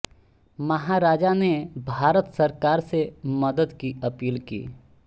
महाराजा ने भारत सरकार से मदद की अपील की